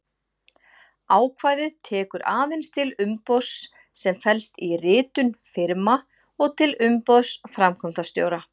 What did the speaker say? Ákvæðið tekur aðeins til umboðs sem felst í ritun firma og til umboðs framkvæmdastjóra.